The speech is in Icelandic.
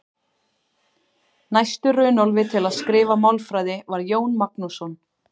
Næstur Runólfi til að skrifa málfræði var Jón Magnússon.